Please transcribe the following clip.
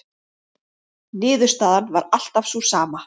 Niðurstaðan var alltaf sú sama.